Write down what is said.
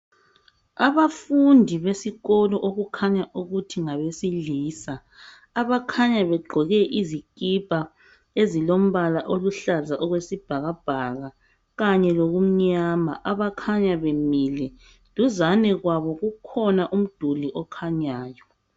Abafundi besikolo okukhanya ukuthi ngabesilisa abakhanya begqoke izikipa ezilombala oluhlaza okwesibhakabhaka kanye lokumnyama abakhanya bemile duzane kwabo kukhona umduli okhanyayo.